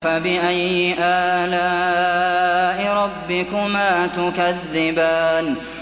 فَبِأَيِّ آلَاءِ رَبِّكُمَا تُكَذِّبَانِ